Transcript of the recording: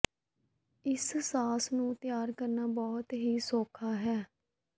ਇਸ ਸਾਸ ਨੂੰ ਤਿਆਰ ਕਰਨਾ ਬਹੁਤ ਹੀ ਸੌਖਾ ਹੈ